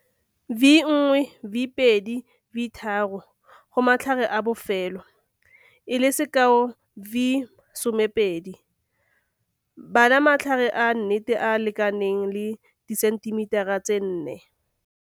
V1, V2, V3, j.j. Go matlhare a bofelo, e le sekao V12. Bala matlhare a nnete a a lekaneng le disentimetara tse 4.